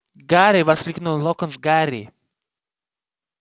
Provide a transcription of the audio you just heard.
гарри воскликнул локонс гарри